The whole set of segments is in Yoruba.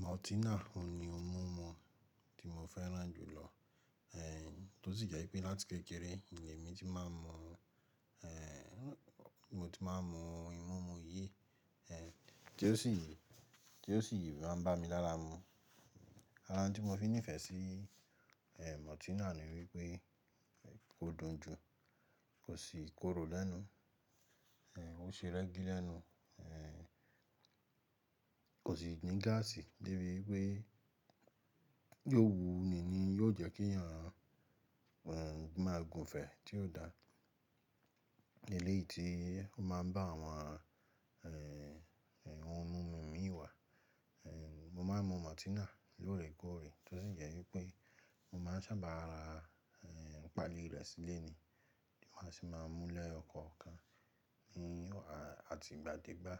Maltina òun ni ohun mímu tí mo fẹ́ràn jùlọ, eh, tó sì jẹ́ pé láti kékeré, ni èmi tí máa ń mu, eh, mo ti máa ń mu ohun mímu yìí, eh, tí ó sì, tí ó sì máa ń bá mi lára mu. Ara n tí mo fi nífẹ̀ẹ́ sí, eh, maltina ni wípé kó dùn jù, kò sì korò lẹ́nu, eh, ó ṣe rẹ́gí lẹ́nu, eh, kò sì ní gáàsì débi wípé yóò wu ni ni yóò jẹ́ kí èèyàn, mọn, máa gùnfẹ́ tí ó da. Ní eléyìí tí ó máa ń bá àwọn, eh, ohun mímu mi wá, eh, mo máa ń mu maltina lóòrèkóòrè tó sì jẹ́ wípé mo máa ń sábà ra, eh, pàálí rẹ̀ sílé ni tí màá á sì máa mú ní ẹyọ kọ̀ọ̀kan ní àti ìgbà dégbà.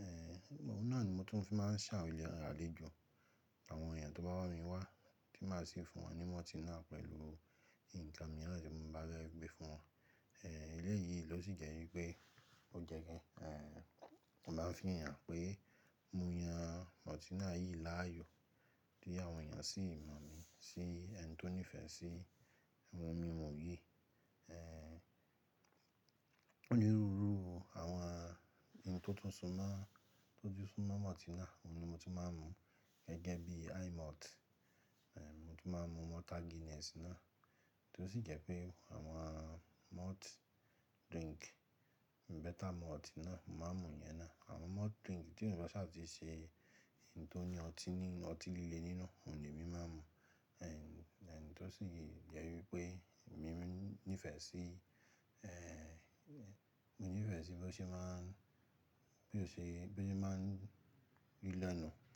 Eh, ohun náà ni mo tún fi máa ń ṣe awọn èèyàn àléjo àwọn èèyàn tó bá wá mi wá tí màá sì fún wọn ní maltina pẹ̀lú nǹkan míìràn tí mo bá fẹ́ gbé fún wọn. Eh, eléyìí ló sì jẹ́ wípé ó jẹ́ ki n kàn, láfi hàn pé mo yan maltina yìí láàyò, kí àwọn èèyàn sì mọ̀ mí sí ẹni tó nífẹ̀ẹ́ sí ohun mímu yìí. Eh, onírúurú àwọn ohun tó tún so mọ́, tó tún sún mọ́ maltina òun ni ohun ti mo máa ń mu gẹ́gẹ́ bí himalt, eh, mo tún máa ń mu malta Guinness náà tó sì jẹ́ pé àwọn malt drink, better malt náà, mo máa ń mu ìyẹn náà. Àwọn malt drink tí wọn ò bá sáti ṣe ohun tó ní ọtí nínu, ọtí líle nínú òun ni èmi máa ń mu. Eh, ẹn tó sì jẹ́ wípé mi ní ìfẹ́ sí, eh, mo ní ìfẹ̀ sí bí ó ṣe máa ń, bí ó ṣe, bí ó ṣe máa ń rí lẹ́nu.